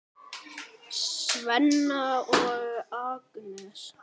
Svenna og Agnesi.